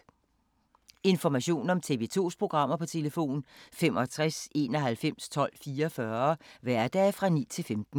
Information om TV 2's programmer: 65 91 12 44, hverdage 9-15.